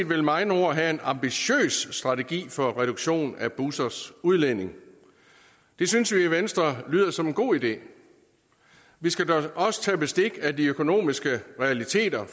vil med egne ord have en ambitiøs strategi for en reduktion af bussers udledning det synes vi i venstre lyder som en god idé vi skal dog også tage bestik af de økonomiske realiteter